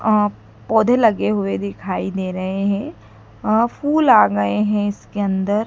अ पौधे लगे हुए दिखाई दे रहे हैं अ और फूल आ गए हैं इसके अंदर।